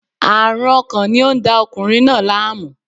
Aarun ọkàn ni o n da ọkunrin naa laamu